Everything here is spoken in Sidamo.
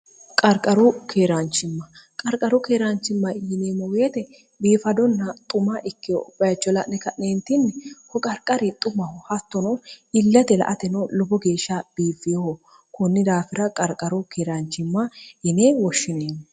qarqaru keeraanchimma qarqaru keeraanchimma yineemmoweete biifadonna xuma ikke uchola'ne ka'neentinni hoqarqari xumahu hattonoo illate la ateno lobo geeshsha biifiho kunni daafira qarqaru keeraanchimma yinee woshshineenni